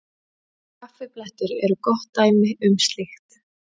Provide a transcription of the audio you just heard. Kaffiblettir eru gott dæmi um slíkt.